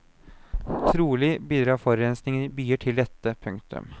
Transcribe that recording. Trolig bidrar forurensingen i byer til dette. punktum